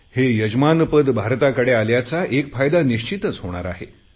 हे यजमानपद भारताकडे आल्याचा एक फायदा निश्चितच होणार आहे